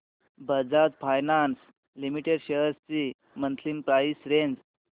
Bajaj finance limited shares ची monthly price range